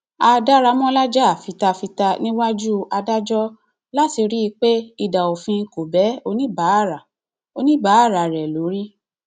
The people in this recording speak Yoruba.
a daramọlá jà fita fita níwájú adájọ láti rí i pé idà òfin kò bẹ oníbàárà oníbàárà rẹ lórí